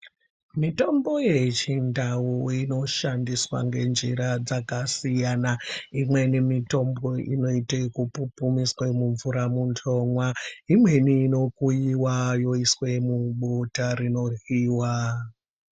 Mitombo yechindau inoshandiswa ngenjira dzakasiyana. Imweni inote yepupumiswa mumvura muntu omwa ,imweni inokuyiwa inokuyiwa yoiswe mubota rinoryiwa.